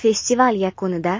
Festival yakunida